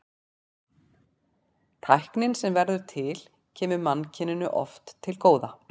Tæknin sem verður til kemur mannkyninu oft til góða.